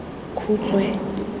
khutshwe